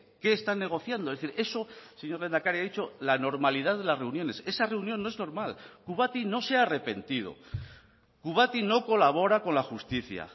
qué están negociando es decir eso señor lehendakari ha dicho la normalidad de las reuniones esa reunión no es normal kubati no se ha arrepentido kubati no colabora con la justicia